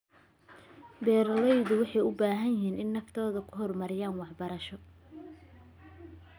Beeraleydu waxay u baahan yihiin inay naftooda ku hormariyaan waxbarasho.